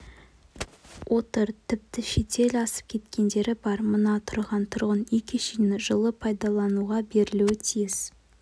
отыр тіпті шетел асып кеткендері бар мына тұрған тұрын үй кешені жылы пайлалануға берілуі тиіс